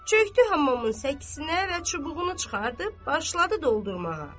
Çökdü hamamın səkinə və çubuğunu çıxartdıb, başladı doldurmağa.